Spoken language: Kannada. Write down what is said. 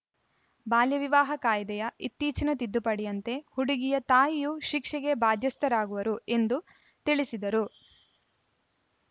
ಬಾಲ್ಯ ವಿವಾಹ ಕಾಯಿದೆಯ ಇತ್ತೀಚಿನ ತಿದ್ದುಪಡಿಯಂತೆ ಹುಡುಗಿಯ ತಾಯಿಯೂ ಶಿಕ್ಷೆಗೆ ಬಾಧ್ಯಸ್ಥರಾಗುವರು ಎಂದು ತಿಳಿಸಿದರು